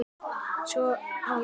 Svo var gripið í spil.